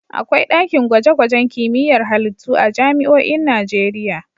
Akwai ɗakin gwaje-gwajen kimiyyar halittu a jami'oin Najeriya.